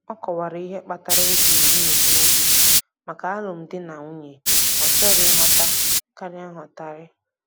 Ọ kọwara ihe kpatara o ji na-egbu oge maka alụm di na nwanyị, ọ chọrọ nghọta karịa nghọtahie